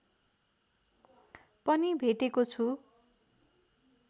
पनि भेटेको छु